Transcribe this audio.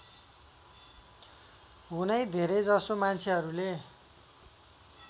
हुने धेरैजसो मान्छेहरूले